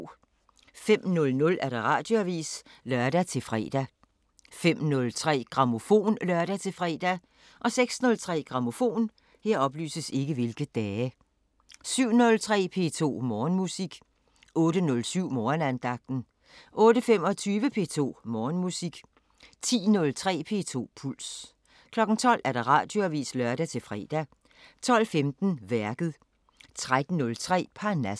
05:00: Radioavisen (lør-fre) 05:03: Grammofon (lør-fre) 06:03: Grammofon 07:03: P2 Morgenmusik 08:07: Morgenandagten 08:25: P2 Morgenmusik 10:03: P2 Puls 12:00: Radioavisen (lør-fre) 12:15: Værket 13:03: Parnasset